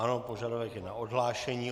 Ano, požadavek je na odhlášení.